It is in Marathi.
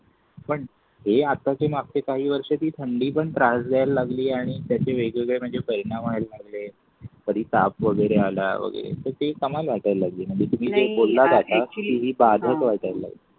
पण ही आताची माती काही वर्ष ती थंडी पण त्रास द्यायला लागली आणि त्याचे वेगळे परिणाम व्हायला लागल कधी ताप वगैरे आला वगैरे तर ते कमाल वाटायला लागली